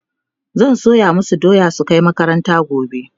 zan soya masu doya su Kai makaranta gobe